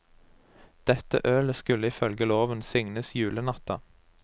Dette ølet skule ifølge loven signes julenatta.